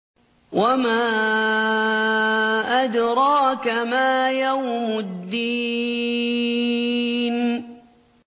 وَمَا أَدْرَاكَ مَا يَوْمُ الدِّينِ